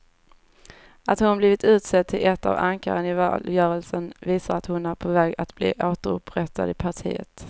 Att hon blivit utsedd till ett av ankaren i valrörelsen visar att hon är på väg att bli återupprättad i partiet.